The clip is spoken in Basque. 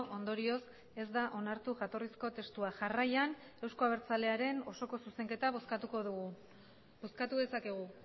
ondorioz ez da onartu jatorrizko testua jarraian euzko abertzalearen osoko zuzenketa bozkatuko dugu bozkatu dezakegu